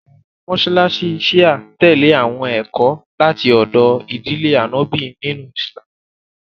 Àwọn mọṣáláṣí Shia tẹlè àwọn ẹ̀kọ́ láti ọdọ̀ ìdílé Ànọ́bì nínú Ìsìlámù